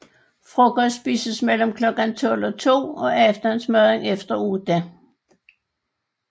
Frokost spises mellem klokken tolv og to og aftensmaden efter otte